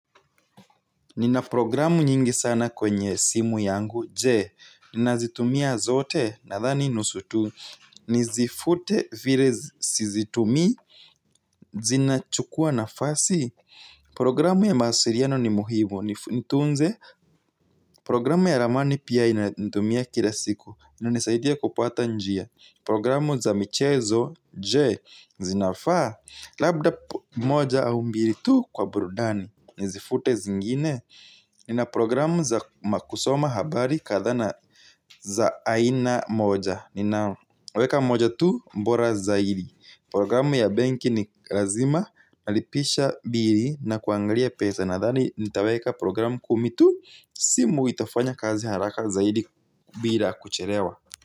Nina programu nyingi sana kwenye simu yangu, jee, ninazitumia zote, nadhani nusu tu, nizifute vire sizitumii, zinachukua nafasi? Programu ya mawasiriano ni muhimu, nitunze, programu ya ramani pia ninatumia kila siku, ininanisaidia kupata njia, programu za michezo, jee, zinafaa, labda moja au mbiri tu kwa burudani, nizifute zingine? Nina programu za makusoma habari kadhaa na za aina moja. Ninaweka moja tu mbora zaidi. Programu ya benki ni razima nalipisha biri na kuangalia pesa. Nadhani nitaweka programu kumi tu. Simu itafanya kazi haraka zaidi bila kucherewa.